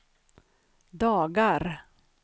dagar